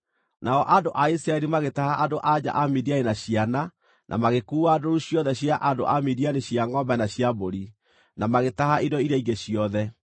Nao andũ a Isiraeli magĩtaha andũ-a-nja a Midiani na ciana, na magĩkuua ndũũru ciothe cia andũ a Midiani cia ngʼombe na cia mbũri, na magĩtaha indo iria ingĩ ciothe.